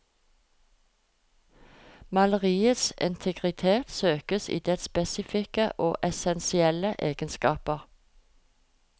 Maleriets integritet søkes i dets spesifikke og essensielle egenskaper.